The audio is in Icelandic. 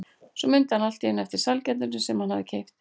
Svo mundi hann allt í einu eftir sælgætinu sem hann hafði keypt.